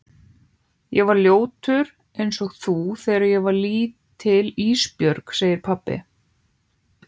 Ég var ljótur einsog þú þegar ég var lítill Ísbjörg, segir pabbi.